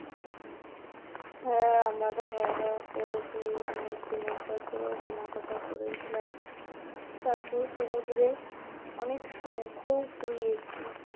হ্যাঁ আমরা তো খাওয়া দাওয়া করেছি, অনেক জিনিসপত্র ও কেনাকাটা করেছিলাম তারপর সমুদ্রে অনেক শঙ্খ ও কুড়িয়েছি